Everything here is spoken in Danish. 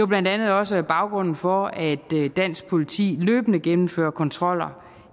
blandt andet også baggrunden for at dansk politi løbende gennemfører kontroller